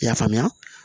I y'a faamuya